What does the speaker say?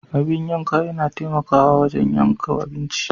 Abin yanka yana taimakawa wajen yanke abinci.